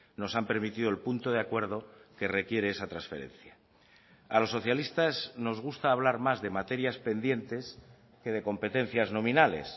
nos han permitido el punto de acuerdo que requiere esa transferencia a los socialistas nos gusta hablar más de materias pendientes que de competencias nominales